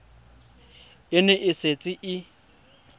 e ne e setse e